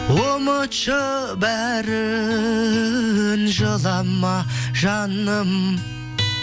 ұмытшы бәрін жылама жаным